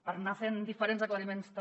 per anar fent diferents aclariments també